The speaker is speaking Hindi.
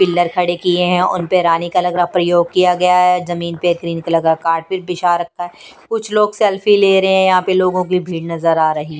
पिल्लर खड़े किए हैं उन पर रानी कलर का प्रयोग किया गया है जमीन पर ग्रीन कलर का कार्पेट बिछा रखा है कुछ लोग सेल्फी ले रहे हैं यहाँ पे लोगों की भीड़ नजर आ रही।